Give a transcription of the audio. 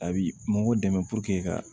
A bi mɔgɔw dɛmɛ ka